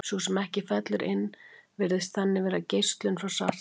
sú sem ekki fellur inn virðist þannig vera geislun frá svartholinu